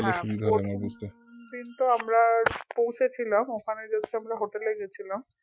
হ্যাঁ বলছি দিন তো আমরা পৌঁছেছিলাম ওখানে just আমরা হোটেল এ গেছিলাম